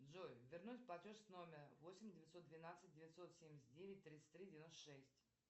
джой вернуть платеж с номера восемь девятьсот двенадцать девятьсот семьдесят девять тридцать три девяносто шесть